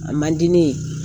A man di ne ye